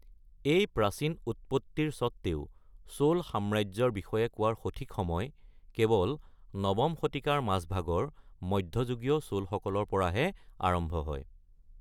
এই প্ৰাচীন উৎপত্তিৰ স্বত্বেও, "চোল সাম্ৰাজ্য"ৰ বিষয়ে কোৱাৰ সঠিক সময় কেৱল ৯ম শতিকাৰ মাজভাগৰ মধ্যযুগীয় চোলসকলৰ পৰাহে আৰম্ভ হয়।